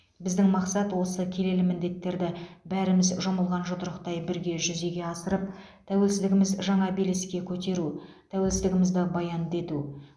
біздің мақсат осы келелі міндеттерді бәріміз жұмылған жұдырықтай бірге жүзеге асырып тәуелсіздігіміз жаңа белеске көтеру тәуелсіздігімізді баянды ету